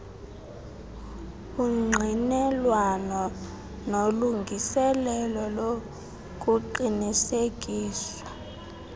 ungqinelwano nolungiselelo lokuqinisekiswa